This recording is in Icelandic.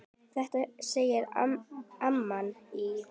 Þetta segir amman í